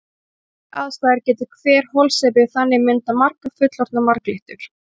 Við kjöraðstæður getur hver holsepi þannig myndað margar fullorðnar marglyttur.